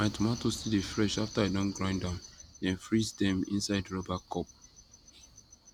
my tomato still dey fresh after i don grind am then freeze dem inside rubber cup